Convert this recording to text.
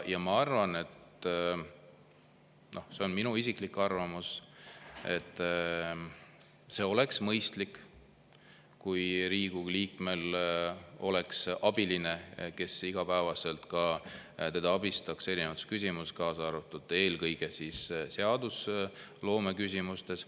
Ma arvan – see on minu isiklik arvamus –, et see oleks mõistlik, kui Riigikogu liikmel oleks abiline, kes igapäevaselt teda abistaks erinevates küsimus, kaasa arvatud ja eelkõige seadusloome küsimustes.